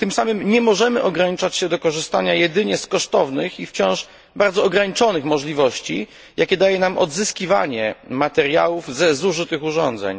Tym samym nie możemy ograniczać się do korzystania jedynie z kosztownych i wciąż bardzo ograniczonych możliwości, jakie daje nam odzyskiwanie materiałów ze zużytych urządzeń.